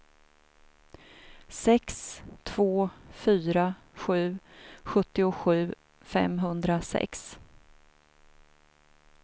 sex två fyra sju sjuttiosju femhundrasex